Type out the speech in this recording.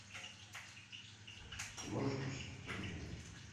ты можешь включить гриффины